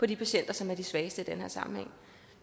de patienter som er de svageste i den her sammenhæng